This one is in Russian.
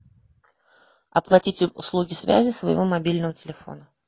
оплатить услуги связи своего мобильного телефона